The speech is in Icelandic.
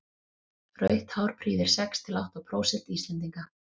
rautt hár prýðir sex til átta prósent íslendinga